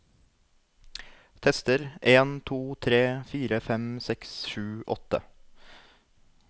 Tester en to tre fire fem seks sju åtte